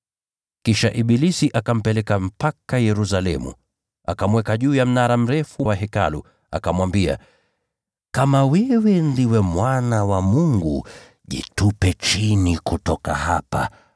Kisha ibilisi akampeleka mpaka Yerusalemu, akamweka juu ya mnara mrefu wa Hekalu, akamwambia, “Kama wewe ndiwe Mwana wa Mungu, jitupe chini kutoka hapa,